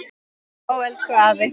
Ó, elsku afi.